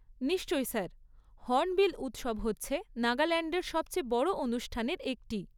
নিশ্চয়ই sir! Hornbill উৎসব হচ্ছে নাগাল্যান্ডের সবচেয়ে বড় অনুষ্ঠানের একটি।